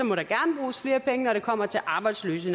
må der gerne bruges flere penge når det kommer til arbejdsløse